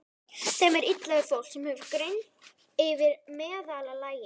Þeim er illa við fólk, sem hefur greind yfir meðallagi.